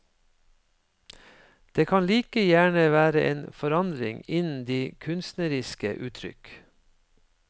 Det kan like gjerne være en forandring innen de kunstneriske uttrykk.